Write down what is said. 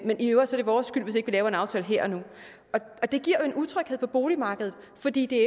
i øvrigt er det vores skyld hvis ikke vi laver en aftale her og nu det giver jo en utryghed på boligmarkedet fordi det